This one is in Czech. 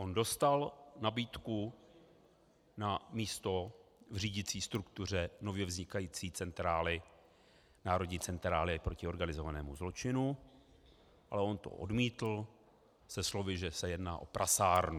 On dostal nabídku na místo v řídicí struktuře nově vznikající centrály, Národní centrály proti organizovanému zločinu, ale on to odmítl se slovy, že se jedná o prasárnu.